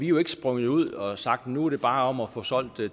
jo ikke sprunget ud og har sagt at nu er det bare om at få solgt